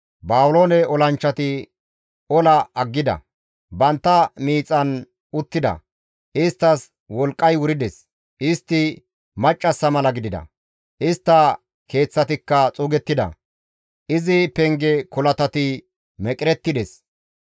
Baabiloone olanchchati ola aggida; bantta miixan uttida; isttas wolqqay wurides; istti maccassa mala gidida; istta keeththatikka xuugettida; izi penge kolatati meqerettida.